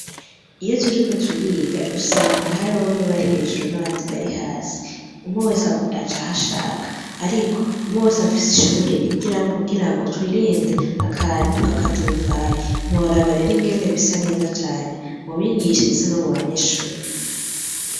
Iyo turiko turiga usanga hari bamwe bari hejuru n'abandi bari hasi umwe wese aja hashaka, ariko umwe wese afise ishure yigiramo kugira ngo twirinde akantu k’ akaduruvayi ntiworaba rero ingene bisa neza cane mubigisha ndetse no mu banyeshuri